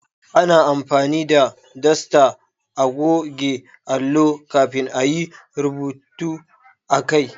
Ana amfani da dasta a goge allo kafin a yi rubutu akai